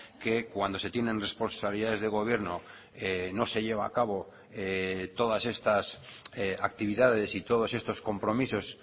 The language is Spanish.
que cuando se tienen responsabilidades de gobierno no se lleva a cabo todas estas actividades y todos estos compromisos